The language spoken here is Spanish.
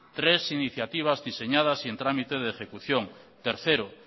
tres iniciativas diseñadas y en trámite de ejecución tercero